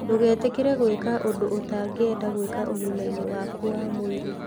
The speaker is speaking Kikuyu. Ndũgetĩkĩre gwĩka ũndũ ũtangĩenda gwĩka ũgima-inĩ waku wa mwĩrĩ.